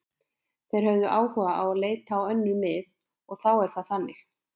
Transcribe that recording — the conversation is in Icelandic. Þeir höfðu áhuga á að leita á önnur mið og þá er það þannig.